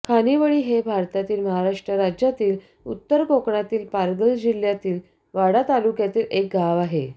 खानिवळी हे भारतातील महाराष्ट्र राज्यातील उत्तर कोकणातील पालघर जिल्ह्यातील वाडा तालुक्यातील एक गाव आहे